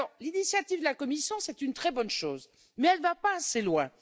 Alors, l'initiative de la Commission est une très bonne chose, mais elle ne va pas assez loin.